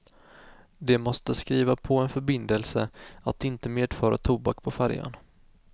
De måste skriva på en förbindelse att inte medföra tobak på färjan.